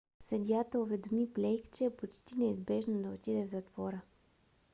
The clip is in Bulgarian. съдията уведоми блейк че е почти неизбежно да отиде в затвора